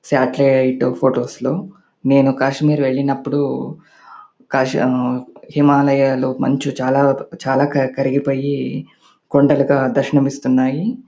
Satellite photos లో నేను కాశ్మీర్ వెళ్ళినప్పుడు కేస్ హిమాలయాలు మంచు చాల చాల కరిగిపోయి కొండలాగా దర్శనం ఇస్తున్నాయి.